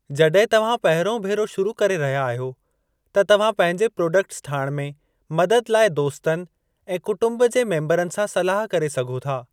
जॾहिं तव्हां पहिरियों भेरो शुरू करे रहिया आहियो त तव्हां पंहिंजे प्रोडक्ट्स ठाहिण में मदद लाइ दोस्तनि ऐं कुटुंब जे मेम्बरनि सां सलाह करे सघो था।